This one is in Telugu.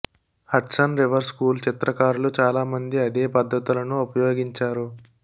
హడ్సన్ రివర్ స్కూల్ చిత్రకారులు చాలా మంది అదే పద్ధతులను ఉపయోగించారు